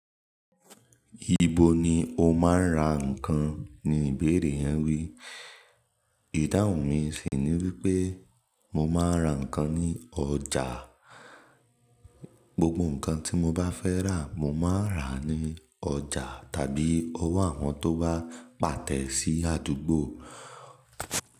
"Ibo ni o máa ń ra ǹkan?" ni ìbéèrè yẹn wí. Ìdáhùn mi sì ni wípé mo máa ń ra ǹkan ní ọjà. Gbogbo ǹkan tí mo bá fẹ́ rà, mo máa n rà ní ọjà tàbí ọwọ́ àwọn tó bá pàtẹ sì àdúgbò.